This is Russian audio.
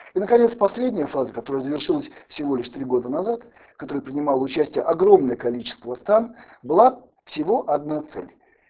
и наконец последняя фаза которая завершилась всего лишь три года назад в которой принимало участие огромное количество стран было всего одна цель